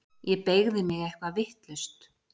Ég beygði mig eitthvað vitlaust.